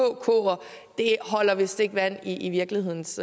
vist ikke holder vand i virkelighedens